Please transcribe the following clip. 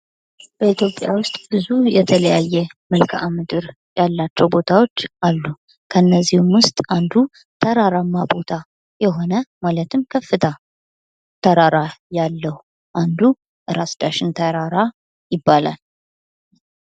በኢትዮጵያ ውስጥ ብዙ የተለያየ መልክዓ ምድር ያላቸው ቦታዎች አሉ። ከነዚህም ውስጥ አንዱ ተራራማ ቦታ የሆነ ማለትም ከፍታ ተራራ ያለው አንዱ ራስ ዳሽን ተራራ ይባላል።